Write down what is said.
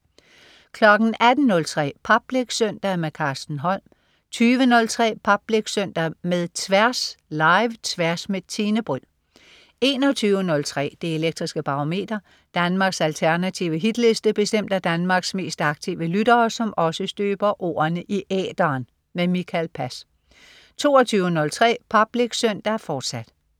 18.03 Public Søndag. Carsten Holm 20.03 Public Søndag med Tværs. Live-Tværs med Tine Bryld 21.03 Det elektriske Barometer. Danmarks alternative hitliste bestemt af Danmarks mest aktive lyttere, som også støber ordene i æteren. Mikael Pass 22.03 Public Søndag, fortsat